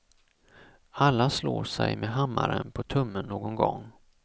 Alla slår sig med hammaren på tummen någon gång.